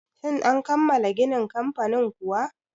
Shin an kammala ginin kamfanin kuwa?